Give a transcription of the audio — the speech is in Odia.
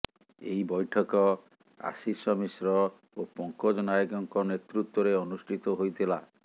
ଏହି ବୈଠକ ଆଶିଷ ମିଶ୍ର ଓ ପଙ୍କଜ ନାୟକଙ୍କ ନେତୃତ୍ୱରେ ଅନୁଷ୍ଠିତ ହୋଇଥିଲା